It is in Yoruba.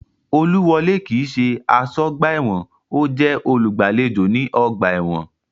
Olúwọlé kii ṣe aṣọ́ ọgbà ẹ̀wọ̀n, ọ́ jẹ́ olùgbàlejò ní ọgbà ẹ̀wọ̀n